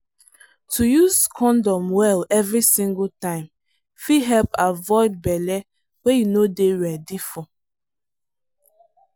to use condom well every single time fit help avoid belle wey you no dey ready for.